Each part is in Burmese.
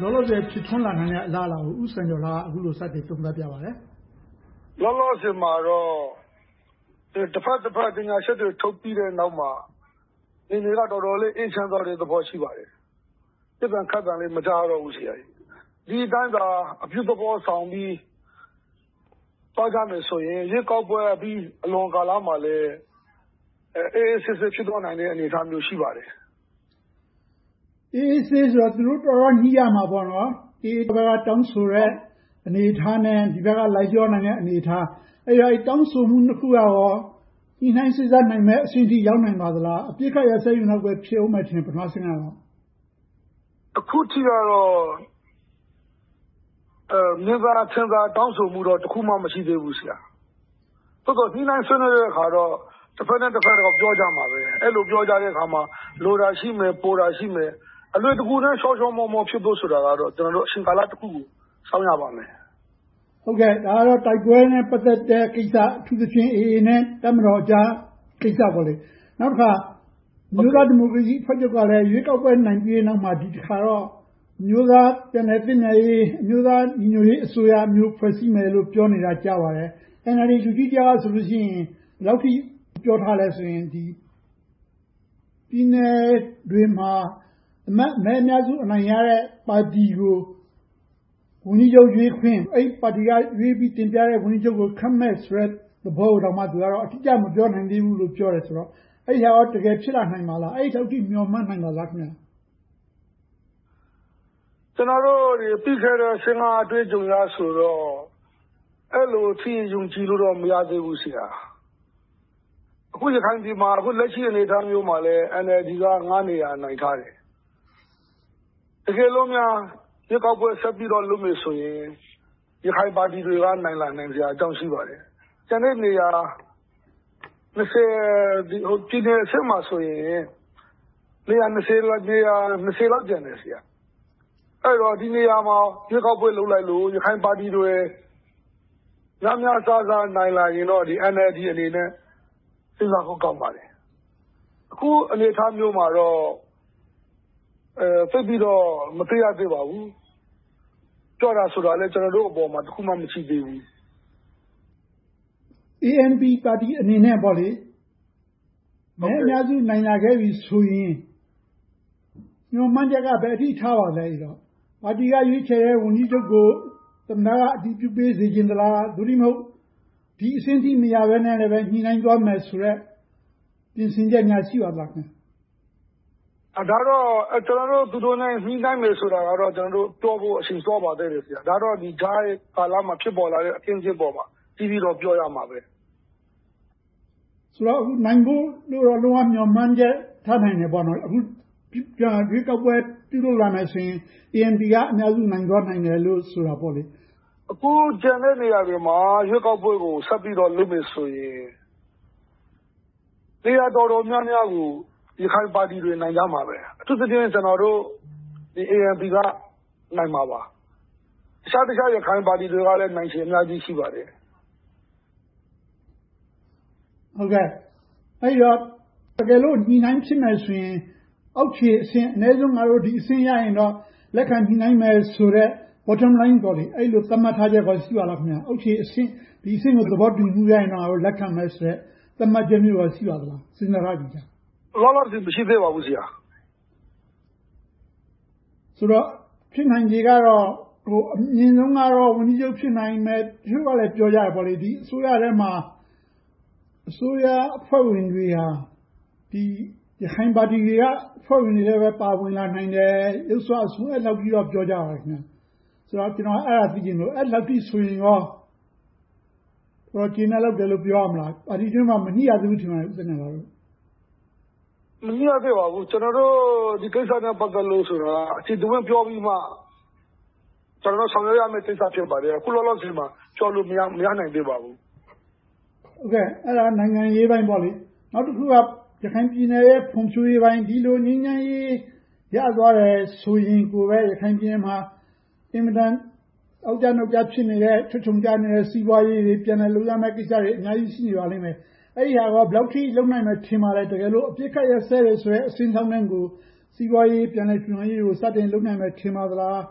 လောလောဆယ် ဖြစ်ထွန်းလာနိုင်တဲ့ အလားအလာကို ဦးစံကျော်လှက အခုလို စတင်သုံးသပ်ပြပါတယ်။ လောလောဆယ်မှာတော့ တဘက်နဲ့တဘက် ကြေညာချက်တွေ ထုတ်ပြီးတဲ့နောက်မှာ အခြေအနေက တော်တော်လေး အေးချမ်းသွားတဲ့ အနေအထား ရှိပါတယ်။ ပစ်သံခတ်သံလည်း မကြားရတော့ဘူး။ ဒီအတိုင်းသာ အပြုသဘောဆောင်ပြီး သွားကြမယ်ဆိုရင် ရွေးကောက်ပွဲကြီးအလွန် ကာလမှာလည်း အေးအေးဆေးဆေး ဖြစ်သွားနိုင်တဲ့ အနေအထား ရှိပါတယ်။ အေးအေးဆေးဆေးဆိုတာ သူတို့ တော်တော်လေး ညှိရမှာပေါ့နော်။ AA ဘက်က တောင်းဆိုတဲ့ အနေအထားနဲ့ ဒီဘက်က လိုက်လျောနိုင်တဲ့ အနေအထား။ အဲဒီတောင်းဆိုမှု နှစ်ခုကရော ညှိနှိုင်းစေ့စပ်နိုင်မယ့်အဆင့်အထိ ရောက်နိုင်မလား။ အပစ်အခတ်ရပ်စဲရေးလောက်ပဲ ဖြစ်မယ်ထင်တယ် ပထမအဆင့်ကတော့။ အခုထိတော့ မြင်သာထင်သာ တောင်းဆိုမှုတော့ တစ်ခုမှ မရှိသေးဘူး။ သို့သော် ညှိနှိုင်းဆွေးနွေးတဲ့အခါတော့ တဘက်နဲ့တဘက်တော့ ပြောကြမှာပဲ။ အဲဒီလို ပြောကြတဲ့အခါ၊ လိုတာရှိမယ်၊ ပိုတာရှိမယ်။ အလွယ်တကူ ချောချောမောမော ဖြစ်ဖို့ဆိုတာကတော့ အချိန်ကာလတစ်ခုကို စောင့်ရပါမယ်။ ဒါကတော့ တိုက်ပွဲနဲ့ ပတ်သက်တဲ့ကိစ္စ။ အထူးသဖြင့် AA နဲ့ တပ်မတော်ကြားကိစ္စပေါ့။ နောက်တခါ အမျိုးသားဒီမိုကရေစီအဖွဲ့ချုပ်ကလည်း ရွေးကောက်ပွဲ နိုင်ပြီးတဲ့အခါမှာ ဒီတစ်ခါတော့ အမျိုးသားပြန်လည်သင့်မြတ်ရေး၊ အမျိုးသားညီညွှတ်ရေးအစိုးရမျိုး ဖွဲ့စည်းမယ်လို့ ကြားနေပါတယ်။ NLD လူကြီးတစ်ယောက်ကဆို ဘယ်လောက်အထိ ပြောထားသလဲဆိုရင် ပြည်နယ်တွေမှာ အမတ်မဲ အများစုရတဲ့ ပါတီကို ဝန်ကြီးချုပ်ရွေးခွင့် - အဲဒီပါတီကရွေးပြီး တင်ပြတဲ့ ဝန်ကြီးချုပ်ကို ခန့်မယ်ဆိုတဲ့သဘောကိုတောင် သူကတော့ အတိအကျ မပြောနိုင်သေးဘူးလို့ ပြောပါတယ်။ အဲဒါ တကယ်ဖြစ်လာနိုင်ပါသလား။ အဲဒီအထိ မျှော်မှန်းနိုင်ပါသလား။ ကျနော်တို့တွေ သိခဲ့တဲ့ ၂၀၁၅ အတွေ့အကြုံအရဆိုရင် အဲဒီလောက်ထိ ယုံကြည်လို့ မရသေးဘူး။ အခု ရခိုင်ပြည်မှာ အခုလက်ရှိ အနေအထားမျိုးမှာ NLD က နေရာ နိုင်ထားတယ်။ တကယ်လို့များ ရွေးကောက်ပွဲဆက်ပြီးတော့ လုပ်မယ်ဆိုရင် ရခိုင်ပါတီတွေက နိုင်လာစရာအကြောင်း ရှိပါတယ်။ ကျန်တဲ့နေရာ ပြည်နယ်အဆင့်မှာဆိုရင် လောက် ကျန်တယ်။ အဲဒီတော့ ဒီနေရာတွေမှာ ရွေးကောက်ပွဲလုပ်လိုက်လို့ ရခိုင်ပါတီတွေ များများစားစား နိုင်လာရင်တော့ NLD အနေနဲ့ စဉ်းစားဖို့ကောင်းပါတယ်။ အခုအနေအထားမျိုးမှာတော့ သိပ်ပြီးတော့ မသိရသေးပါဘူး။ ပြောတာဆိုတာလည်း ကျနော်တို့အပေါ်မှာ တစ်ခုမှ မရှိသေးပါဘူး။ ANP ပါတီအနေနဲ့ မဲအများစု နိုင်လာခဲ့ပြီဆိုရင် မျှော်မှန်းချက်က ဘယ်အထိ ထားပါသလဲ။ ပါတီက ရွေးချယ်တဲ့ ဝန်ကြီးချုပ်ကို သမ္မတက အတည်ပြုပေးစေချင်လား။ သို့တည်းမဟုတ် ဒီအဆင့်ထိမရဘဲနဲ့ ညှိနှိုင်းသွားမယ်ဆိုတဲ့ ပြင်ဆင်ချက်များ ရှိပါသလား။ ဒါကတော့ သူတို့နဲ့ ညှိနှိုင်းမယ်ဆိုတာကတော့ ပြောဖို့ အချိန်စောပါသေးတယ်။ ဒါကတော့ ကြားကာလမှာ ဖြစ်ပေါ်လာတဲ့ အခင်းအကျင်းပေါ်မှာ အသီးသီးတော့ ပြောရမှာပဲ။ ဆိုတော့ နိုင်ဖို့တော့ လုံးဝမျှော်မှန်းချက် ထားနိုင်တယ်ပေါ့။ အခု ရွေးကောက်ပွဲ ပြန်လည်ပြုလုပ်လာမယ်ဆိုရင် ANP က အများဆုံး နိုင်သွားနိုင်မယ်လို့ ဆိုတာပေါ့။ အခုကျန်တဲ့နေရာတွေမှာ ရွေးကောက်ပွဲကို ဆက်ပြီးတော့ လုပ်မယ်ဆိုရင် နေရာတော်တော်များများကို ရခိုင်ပါတီတွေ နိုင်ကြမှာပဲ။ အထူးသဖြင့် ကျနော်တို့ ANP က နိုင်မှာပါ။ အခြားအခြားသော ရခိုင်ပါတီတွေကလည်း နိုင်ချေအများကြီး ရှိပါတယ်။ အဲဒီတော့ တကယ်လို့ ညှိနှိုင်းဖြစ်မယ်ဆိုရင် အောက်ခြေအဆင့် အနည်းဆုံး ငါတို့ ဒီအဆင့်ရရင်တော့ လက်ခံညှိနှိုင်းမယ်ဆိုတဲ့ bottom line အဲဒီလို သတ်မှတ်ထားချက် ရှိပါသလား။ အောက်ခြေအဆင့်ကို သဘောတူညီမှုရရင်တော့ ငါတို့ လက်ခံမယ်ဆိုတဲ့ သတ်မှတ်ချက်မျိုး ရှိပါသလား။ စဉ်းစားထားပြီးပြီလား။ လောလောဆယ် မရှိသေးပါဘူး။ ဆိုတော့ ဖြစ်နိုင်ချေကတော့ အမြင်ဆုံးကတော့ ဝန်ကြီးချုပ် ဖြစ်နိုင်မယ်။ အချို့ကလဲ ပြောကြတယ် ဒီအစိုးရထဲမှာ အစိုးရအဖွဲ့ဝင်တွေက ရခိုင်ပါတီတွေက အဖွဲ့ဝင်တွေလည်း ပါဝင်လာနိုင်တယ်။ ယုတ်စွအဆုံး အဲဒီလောက်အထိ ပြောကြပါတယ်။ ဆိုတော့ ကျနော်က အဲဒါကို သိချင်လို့ အဲဒီလောက်ဆို ကျေနပ်လောက်တယ်လို့ ပြောရမလား။ ပါတီတွင်းမှာ မညှိရသေးဘူး ထင်ပါတယ်။ မညှိရသေးပါဘူး။ ကျနော်တို့ ဒီကိစ္စနဲ့ ပတ်သက်လို့ အကျယ်တဝန့်ပြောပြီးမှ ဆောင်ရွက်ရမယ့် ကိစ္စ ဖြစ်ပါတယ်။ အခုလောလောဆယ်မှာ ပြောလို့မရနိုင်သေးပါဘူး။ အဲဒါက နိုင်ငံရေးပိုင်းပေါ့။ နောက်တစ်ခုက ရခိုင်ပြည်နယ်ရဲ့ ဖွံ့ဖြိုးရေးပိုင်း။ ဒီလို ငြိမ်းချမ်းရေး ရသွားတယ်ဆိုရင်ပဲ ရခိုင်ပြည်နယ်မှာ အင်မတန် အောက်ကျနောက်ကျ ဖြစ်နေတဲ့ ချွတ်ခြုံကျနေတဲ့ စီးပွားရေးတွေ ပြန်လည်လုပ်ရမယ့်ကိစ္စတွေ အများကြီး ရှိနေသေးပါလိမ့်မယ်။ အဲဒါတွေကော ဘယ်လောက်အထိ လုပ်နိုင်မယ် ထင်ပါသလဲ။ တကယ်လို့ အပစ်အခတ် ရပ်စဲတယ်ဆိုတဲ့ အဆင့်လောက်ကို စီးပွားရေး ပြန်လည်ထူထောင်ရေးကို စတင်လုပ်နိုင်မယ် ထင်ပါသလား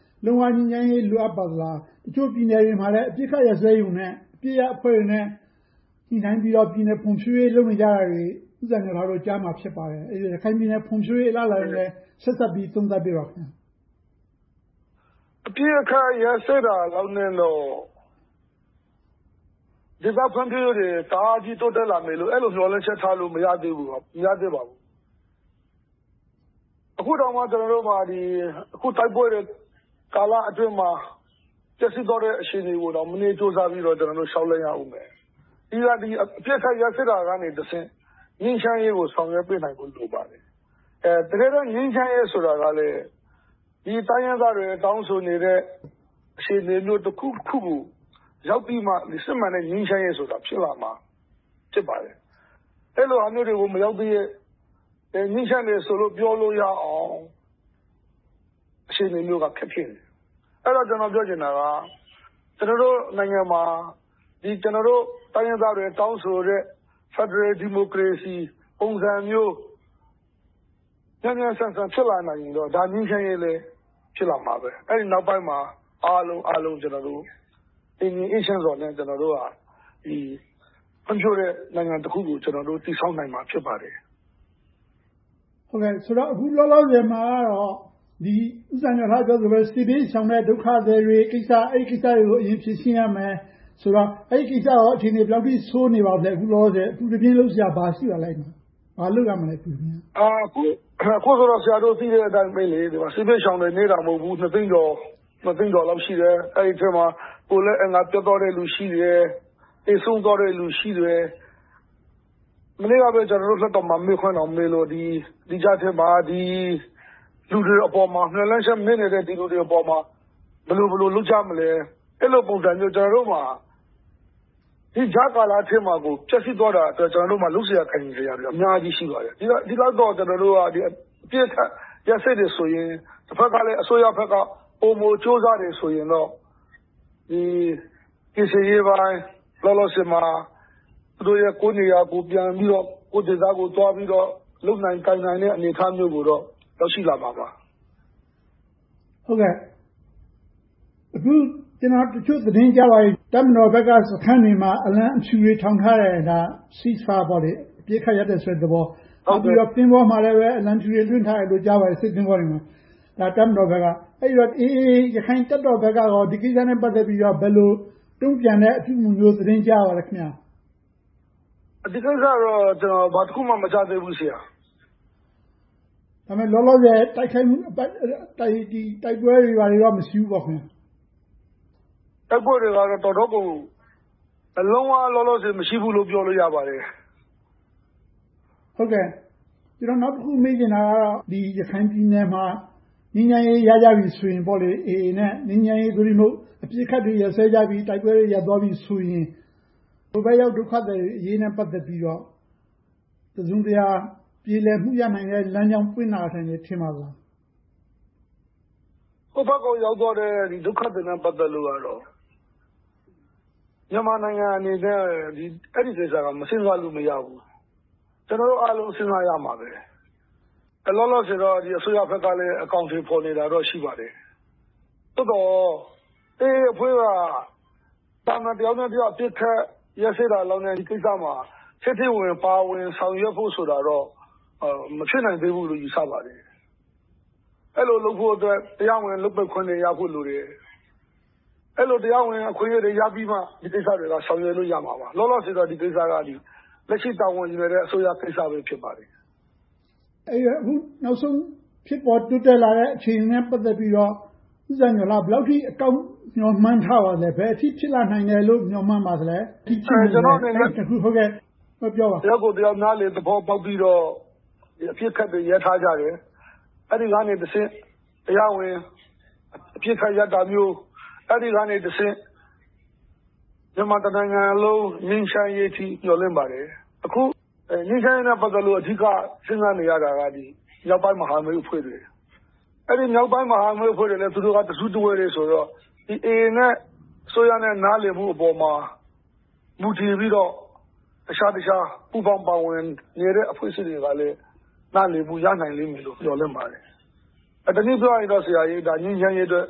။ လုံးဝငြိမ်းချမ်းရေး လိုအပ်ပါသလား။ အချို့ပြည်နယ်တွေမှာလည်း အပစ်အခတ်ရပ်စဲရုံနဲ့ အပစ်ရပ်အဖွဲ့တွေနဲ့ ညှိနှိုင်းပြီးတော့ ပြည်နယ်ဖွံ့ဖြိုးရေးတွေ လုပ်နေတာတွေကို ဦးစံလှကျော်တို့ ကြားမှာ ဖြစ်ပါတယ်။ အဲဒီတော့ ရခိုင်ပြည်နယ် ဖွံ့ဖြိုးရေးနဲ့ ဆက်စပ်ပြီး သုံးသပ်ပေးပါ။ အပစ်အခတ် ရပ်စဲတာလောက်နဲ့တော့ ဒေသဖွံ့ဖြိုးရေးတွေ တအားကြီး တိုးတက်လာမယ်လို့ အဲဒီလို မျှော်လင့်ချက်ထားလို့ မရသေးဘူး။ အခုတောင်မှ ကျနော်တို့မှာ တိုက်ပွဲတွေကာလအတွင်းမှာ ပျက်စီးသွားတဲ့ အခြေအနေတွေကို မနည်းကြိုးစားပြီးတော့ လျှောက်လှမ်းသွားရအုံးမယ်။ ပြီးတော့ အပစ်ခတ်ရပ်စဲတာကနေတဆင့် ငြိမ်းချမ်းရေးကို ဆောင်ရွက်ပေးနိုင်ဖို့ လိုပါတယ်။ တကယ်တော့ ငြိမ်းချမ်းရေးဆိုတာကလဲ ဒီတိုင်းရင်းသားတွေ တောင်းဆိုနေတဲ့ အခြေအနေမျိုး တစ်ခုခုကို ရောက်ပြီးမှ စစ်မှန်တဲ့ ငြိမ်းချမ်းရေး ဖြစ်လာမှာ ဖြစ်ပါတယ်။ အဲဒီလိုဟာမျိုးတွေကို မရောက်သရွေ့ ငြိမ်းချမ်းတယ်ဆိုလို့ ပြောလို့ရအောင် အခြေအနေမျိုးက ခက်ခဲတယ်။ အဲဒီတော့ ကျနော်ပြောချင်တာက ကျနော်တို့နိုင်ငံမှာ တိုင်းရင်းသားတွေ တောင်းဆိုနေတဲ့ ဖယ်ဒရယ်ဒီမိုကရေစီ ပုံစံမျိုး မြန်မြန်ဆန်ဆန် ဖြစ်လာနိုင်ရင်တော့ ငြိမ်းချမ်းရေးလည်း ဖြစ်လာမှာပဲ။ အဲဒီနောက်ပိုင်းမှာ အားလုံးအားလုံး တည်ငြိမ်အေးချမ်းစွာနဲ့ ဖွံ့ဖြိုးတဲ့နိုင်ငံတစ်ခုကို တည်ဆောက်နိုင်မှာ ဖြစ်ပါတယ်။ အခုလောလောဆယ်မှာ ဦးစံကျော်လှ ပြောသလိုပဲ စစ်ဘေးရှောင်တွေကိစ္စ။ အဲဒီကိစ္စတွေကို အရင်ဖြေရှင်းရမယ်ဆိုတော့ အဲဒီကိစ္စတွေက ဘယ်လောက်ထိ အခြေအနေတွေ ဆိုးနေပါသလဲ။ အခုလက်ရှိ အပူတပြင်း လုပ်စရာ ဘာတွေရှိပါသလဲ။ ဘာလုပ်ရမလဲ။ အခုတော့ ဆရာတို့ သိတဲ့အတိုင်ပဲ စစ်ဘေးရှောင်တွေ နည်းတာမဟုတ်ဘူး။ နှစ်သိန်းကျော်လောက် ရှိတယ်။ အဲဒီအထဲမှာ ကိုယ်လက်အင်္ဂါပျက်သွားတဲ့လူတွေ ရှိတယ်။ သေဆုံးသွားတဲ့လူတွေ ရှိတယ်။ မနေ့ကပဲ လွှတ်တော်မှာ မေးခွန်းမေးလို့ ဒီကြားထဲမှာ လူတွေအပေါ် မျှော်လင့်ချက်မဲ့နေတဲ့ လူတွေအပေါ်မှာ ဘယ်လိုလုပ်ကြမလဲ။ အဲဒီလိုပုံစံမျိုး ကျနော်တို့မှာ ဒီကြားကာလထဲမှာကို ဖျက်ဆီးသွားတာ လုပ်စရာကိုင်စရာတွေ အများကြီး ရှိပါတယ်။ အပစ်အခတ်ရပ်စဲတယ်ဆိုရင် တဘက်ကလဲ အစိုးရဘက်က ပိုမိုကြိုးစားတယ်ဆိုရင်တော့ ကယ်ဆယ်ရေးပိုင်း၊ လောလောဆယ်မှာ သူတို့တွေ ကိုယ့်နေရာကိုယ် ပြန်ပြီးတော့၊ ကိုယ့်ဒေသကိုယ် သွားပြီးတော့ လုပ်နိုင်ကိုင်နိုင်တဲ့ အနေအထားမျိုးကိုတော့ ရောက်ရှိလာမှာပါ။ အခု ကျနော် သတင်းကြားတာက တပ်မတော်ဘက်က စခန်းတွေမှာ အလံဖြူတွေ ထောင်ထားတယ်။ ဒါက Cease Fire အပစ်အခတ်ရပ်တယ်ဆိုတဲ့သဘော၊ နောက်ပြီးတော့ စစ်သင်္ဘောတွေပေါ်မှာလည်း အလံဖြူတွေ လွှင့်ထားတယ်လို့ ကြားပါတယ်။ တပ်မတော်ဘက်က။ အဲဒီတော့ AA ရက္ခိုင်တပ်တော်ဘက်ကရော ဒီကိစ္စနဲ့ ပတ်သက်ပြီးတော့ ဘယ်လို တုံ့ပြန်တဲ့အပြုအမှုမျိုး သတင်းကြားရပါလဲ။ ဒီကိစ္စတော့ ဘာတစ်ခုမှ မကြားရသေးဘူး။ လောလောဆယ် တိုက်ခိုက်မှုတွေ တိုက်ပွဲတွေတော့ မရှိဘူးပေါ့။ တိုက်ပွဲတွေကတော့ လုံးဝလောလောဆယ် မရှိဘူးလို့ ပြောလို့ရပါတယ်။ နောက်တစ်ခု မေးချင်တာကတော့ ရခိုင်ပြည်နယ်မှာ ငြိမ်းချမ်းရေး ရကြပြီဆိုရင် AA နဲ့ ငြိမ်းချမ်းရေး သို့တည်းမဟုတ် အပစ်အခတ်တွေ ရပ်စဲသွားကြပြီဆိုရင် ဟိုဘက်ရောက် ဒုက္ခသည်တွေနဲ့ ပတ်သက်ပြီးတော့ တစုံတရာ ပြေလည်မှု ရနိုင်မယ့် လမ်းကြောင်းပွင့်လာနိုင်မယ် ထင်ပါသလား။ ဟိုဘက်ကို ရောက်သွားတဲ့ ဒုက္ခသည်တွေနဲ့ ပတ်သက်လို့ကတော့ မြန်မာနိုင်ငံအနေနဲ့ အဲဒီကိစ္စနဲ့ ပတ်သက်လို့ မစဉ်းစားလို့ မရဘူး။ ကျနော်တို့အားလုံး စဉ်းစားရမှာပဲ။ လောလောဆယ်တော့ အစိုးရဘက်ကလည်း အကောင်အထည်ဖော်နေတာတော့ ရှိပါတယ်။ သို့သော် AA အဖွဲ့က သာမန်တစ်ဖွဲ့နဲ့တစ်ဖွဲ့ အပစ်ရပ်တာလောက်နဲ့ ဒီကိစ္စမှာ ထဲထဲဝင်ဝင် ပါဝင်ဆောင်ရွက်ဖို့ဆိုတာတော့ မဖြစ်နိုင်သေးဘူးလို့ ယူဆပါတယ်။ အဲဒီလိုလုပ်ဖို့အတွက် တရားဝင်လုပ်ပိုင်ခွင့်တွေရဖို့ လိုအပ်တယ်။ အဲဒီလို တရားဝင်အခွင့်အရေးတွေ ရပြီးမှ ဒီကိစ္စတွေက ဆောင်ရွက်လို့ ရမှာပါ။ လောလောဆယ်တော့ ဒီကိစ္စက လက်ရှိတာဝန်ယူထားတဲ့ အစိုးရကိစ္စပဲ ဖြစ်ပါတယ်။ နောက်ဆုံးဖြစ်ပေါ်တိုးတက်လာတဲ့ အခြေအနေနဲ့ ပတ်သက်ပြီးတော့ ဦးစံကျော်လှ ဘယ်လောက်အထိ အကောင်းမြင်မျှော်မှန်းထားပါသလဲ။ ဘယ်အထိ ဖြစ်ပေါ်လာနိုင်မယ်လို့ မျှော်မှန်းထားပါသလဲ။ ကျနော့်အနေနဲ့ တစ်ယောက်ကိုတစ်ယောက် နားလည်သဘောပေါက်ပြီးတော့ အပစ်ခတ်တွေ ရပ်ထားကြတယ်။ အဲဒီကနေတဆင့် တရားဝင်အပစ်ခတ်ရပ်တာမျိုး၊ အဲဒီကနေတဆင့် မြန်မာတနိုင်ငံလုံး ငြိမ်းချမ်းရေးအထိ မျှော်လင့်ပါတယ်။ အခု ငြိမ်းချမ်းရေးနဲ့ ပတ်သက်လို့ အဓိက စဉ်းစားနေရတာက မြောက်ပိုင်းမဟာမိတ်အဖွဲ့တွေ။ အဲဒီမြောက်ပိုင်းမဟာမိတ်အဖွဲ့တွေနဲ့ သူတို့က တစုတဝေးတည်းဆိုတော့ AA နဲ့ အစိုးရနဲ့ နားလည်မှုပေါ် မူတည်ပြီးတော့ တခြားတခြား ပူးပေါင်းပါဝင်နေတဲ့ အဖွဲ့အစည်းတွေကလည်း နားလည်မှု ရနိုင်လိမ့်မယ်လို့ မျှော်လင့်ပါတယ်။ တနည်းပြောရရင်တော့ ငြိမ်းချမ်းရေးအတွက်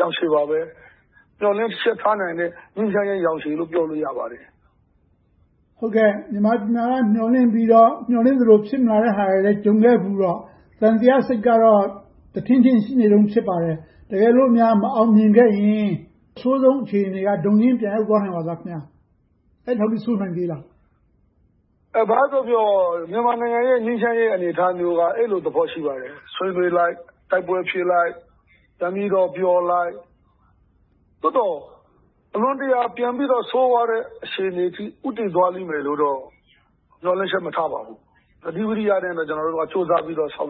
ရောင်ခြည်ပါပဲ။ မျှော်လင့်ချက်ထားနိုင်တဲ့ ငြိမ်းချမ်းရေးရောင်ခြည်လို့ ပြောလို့ရပါတယ်။ မြန်မာပြည်မှာက မျှော်လင့်ပြီးတော့ မျှော်လင့်သလို ဖြစ်မလာတဲ့ဟာတွေ ကြုံခဲ့ဖူးတော့ သံသယစိတ်ကတော့ တထင့်ထင့် ရှိနေတုန်း ဖြစ်ပါတယ်။ တကယ်လို့များ မအောင်မြင်ခဲ့ရင် အဆိုးဆုံးအခြေအနေက ဒုံရင်းပြန်ရောက်သွားနိုင်ပါသလား။ အဲဒီထက် ဆိုးနိုင်သေးသလား။ ဘာပဲပြောပြော မြန်မာနိုင်ငံရဲ့ ငြိမ်းချမ်းရေး အနေအထားမျိုးက အဲဒီလိုသဘော ရှိပါတယ်။ ဆွေးနွေးလိုက်၊ တိုက်ပွဲဖြစ်လိုက် ပြန်ပြီးတော့ ပြောလိုက်။ သို့သော် အလွန်တရာ ပိုပြီးတော့ ဆိုးဝါးတဲ့ အခြေအနေအထိ ဦးတည်သွားလိမ့်မယ်လို့တော့ မျှော်လင့်ချက် မထားပါဘူး။ သတိဝီရိယနဲ့ပဲ ကျနော်တို့က ကြိုးစားပြီးတော့ ဆောင်